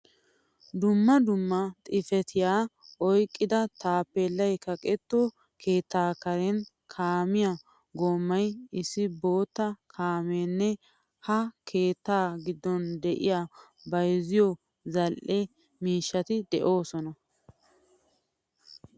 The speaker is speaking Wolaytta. Dumma dumma xifatiya oyqqida tappelay kaqetto keettaa karen kaamiyaa goomay, issi bootta kaamiyanne ha keetta giddon de'iyaa bayzzioy zal'ee miishshati desosona.